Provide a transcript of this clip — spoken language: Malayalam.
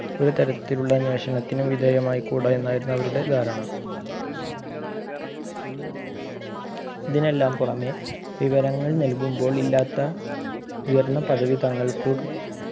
ഒരു തരത്തിലുള്ള അന്വേഷണത്തിനും വിധേയമായിക്കൂട എന്നായിരുന്നു അവരുടെ ധാരണ ഇതിനെല്ലാം പുറമെ വിവരങ്ങൾ നൽകുമ്പോൾ ഇല്ലാത്ത ഉയർന്ന പദവി തങ്ങൾക്ക്